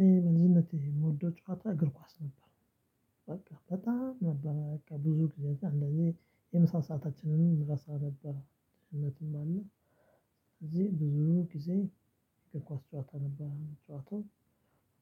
ይሄ መዝናናት የምወደው ጨዋታ እግር ኳስ ነበር። በቃ በጣም ነበር በቃ ብዙ ጊዜ እንደዚህ የምሳ ሰአታችንም እንረሳ ነበር። እውነትም አለ እዚህ ብዙ ጊዜ የኳስ ጨዋታ ነበር የምንጨዋተው